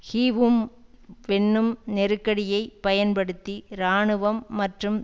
ஹீவும் வென்னும் நெருக்கடியைப் பயன்படுத்தி இராணுவம் மற்றும்